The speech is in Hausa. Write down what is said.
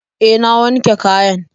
Eh, na wanke kayan.